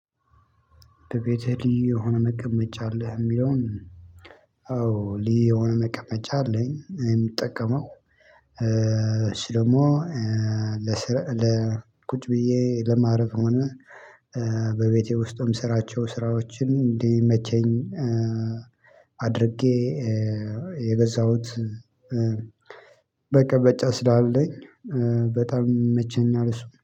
በቤትህ ልዩ የሆነ መቀመጫ አለህ? የሚለውን ኦ ሊ የሆነ መቀመጫ አለኝ የምጠቀመው። እሱ ደግሞ ለስራ ለ ቁጭ ብዬ ለማረፍ ሆነ በቤቴ ውስጥም የምስራቸው ስራዎችን እንዲመቸኝ። አድርጌ የገዛሁት መቀመጫ ስላለኝ በጣም ይመቸኛል እሱ